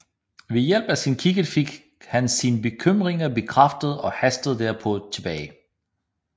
Ved hjælp af sin kikkert fik han sine bekymringer bekræftet og hastede derpå tilbage